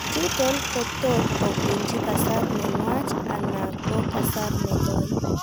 chuton ko tot kobunji kasar nenwach ana ko kasar negoii